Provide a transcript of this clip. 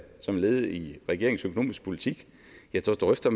som led i regeringens økonomiske politik da drøfter